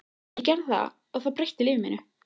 Ég gerði það og það breytti lífi mínu.